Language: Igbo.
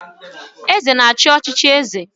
Eze na-achị n'ọchịchị eze